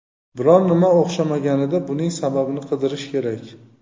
Biror nima o‘xshamaganida buning sababini qidirish kerak.